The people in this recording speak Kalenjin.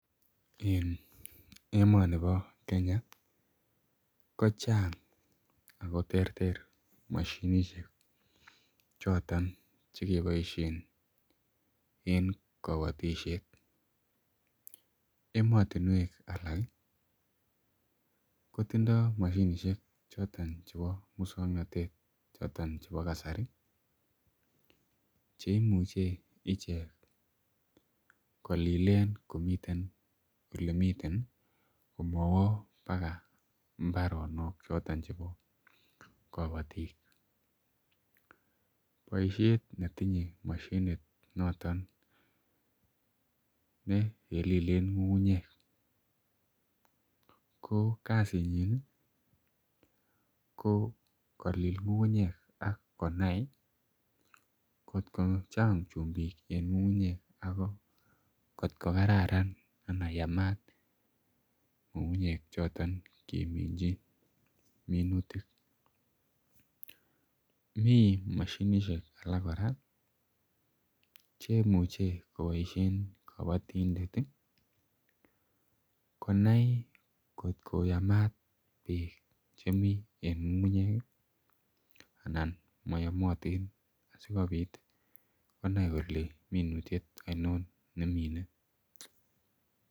En emoniton nebo Kenya ih , kochang Ako terter mashinisiek choton, chekiboisien en kabatisiet. Emotinuek alak kotindo mashinisiek choto chebo musuaknotet choton chebo kasari ih. Cheimuche icheket kolilen en olemiten ih, komawo baga imbaronok choton chebo Kapatik , baishet netinye noton nekelilen ng'ung'ungnyek ko kasit nyin kokolil ng'ung'ungnyek akonai atko Chang chumbik anan atkoksraran choton keminchinminutik. Mi mashinisiek alak kora ih , cheimuche kobaishien kabatindet ih , konai atko yamat bek chebo chemi en ng'ung'ungnyek ih anan mayamatin konai kole minutiet ainon nemine.